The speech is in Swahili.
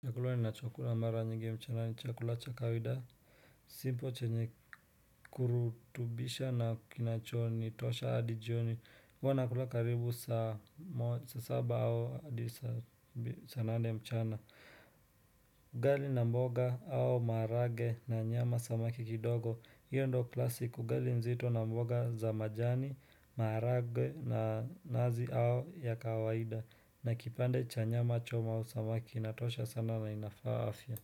Chakula ni na chokula mara nyingi mchana ni chakula chakawaida Simpo chenye kurutubisha na kinachoni, tosha adijioni huwanakula karibu sa saba au adisa saa nane mchana Gali na mboga au marage na nyama samaki kidogo hiyo ndo klasiku gali nzito na mboga za majani, marage na nazi au ya kawaida na kipande cha nyama choma au samaki na tosha sana na inafaa afya.